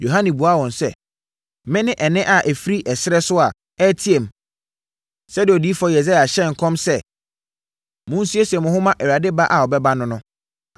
Yohane buaa wɔn sɛ, “Mene nne a ɛfiri ɛserɛ so a ɛreteam, sɛdeɛ Odiyifoɔ Yesaia hyɛɛ nkɔm sɛ, ‘Monsiesie mo ho mma Awurade ba a ɔbɛba no no.’ ”